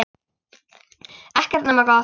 Ekkert nema gott.